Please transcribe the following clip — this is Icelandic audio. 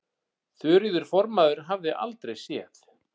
Þuríður formaður hafði aldrei séð